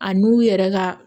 A n'u yɛrɛ ka